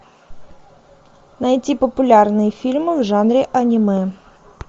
найти популярные фильмы в жанре аниме